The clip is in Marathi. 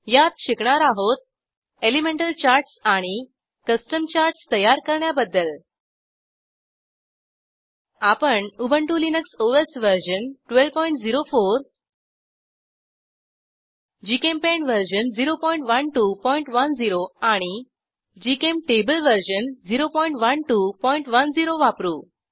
यात शिकणार आहोत एलिमेंटल चार्टस आणि कस्टम चार्टस तयार करण्याबद्दल आपण Ubuntu Linux OS version 1204 GChemPaint version 01210 आणि जीचेम्टेबल वर्जन 01210 वापरू